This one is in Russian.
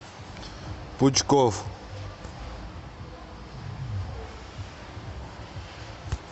пучков